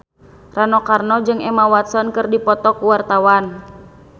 Rano Karno jeung Emma Watson keur dipoto ku wartawan